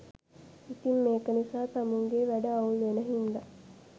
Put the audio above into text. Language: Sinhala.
ඉතිං මේක නිසා තමුන්ගෙ වැඩ අවුල් වෙන හින්දා